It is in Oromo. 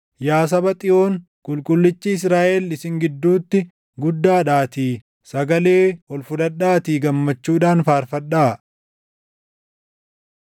Yaa saba Xiyoon, Qulqullichi Israaʼel // isin gidduutti guddaadhaatii sagalee ol fudhadhaatii gammachuudhaan faarfadhaa.”